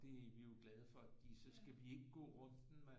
Det er vi jo glade fordi så skal vi ikke gå runden med